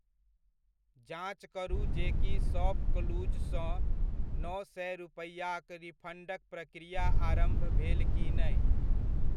जाँच करू जे की शॉपक्लूजसँ नओ सए रुपैआक रिफण्डक प्रक्रिया आरम्भ भेल कि नहि?